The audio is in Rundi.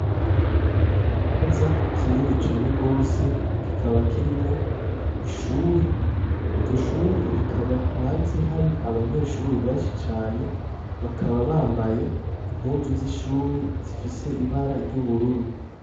Ikibanza kinini cane gose kikaba kirimwo ishuri iryo shuri rikaba hanze hari abanyeshure benshi cane bakaba bambaye impuzu z'ishuri zifise ibara ry'ubururu.